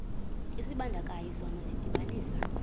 isibandakanyi sona sidibanisa